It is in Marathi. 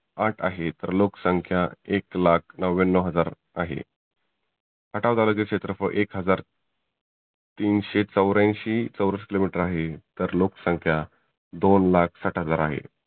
आठ आहे तर लोक संख्या एक लाख नव्व्यनव हजार आहे. खटाव तालुक्याचं क्षेत्रफल एक हजार तीनशे चौऱ्यांशी चौरस किलो मिटर आहे. तर लोक संख्या दोन लाख साठ हजार आहे.